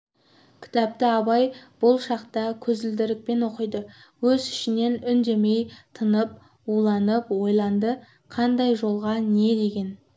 кітапты абай бұл шақта көзілдірікпен оқиды өз ішінен үндемей тынып уланып ойланды қандай жолға не деген